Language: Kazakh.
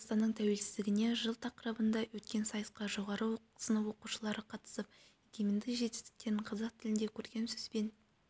қазақстанның тәуелсіздігіне жыл тақырыбында өткен сайысқа жоғары сынып оқушылары қатысып егемендік жетістіктерін қазақ тілінде көркем сөзбен